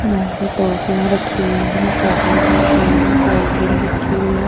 यहां पे टोफिंया रखी हुई है चॉकलेट रखे हुए हैं कोल्ड ड्रिंक रखी हुई है।